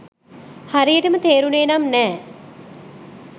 හරියටම තේරුනේ නම් නෑ.